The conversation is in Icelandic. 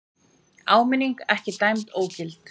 Áminning ekki dæmd ógild